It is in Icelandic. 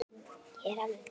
Ég er alveg bit!